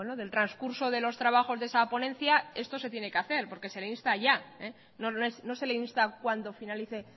del transcurso de los trabajos de esa ponencia esto se tiene que hacer porque se le insta ya no se le insta cuando finalice